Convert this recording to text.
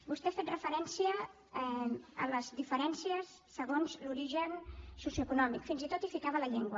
vostè ha fet referència a les diferències segons l’origen socioeconòmic fins i tot hi posava la llengua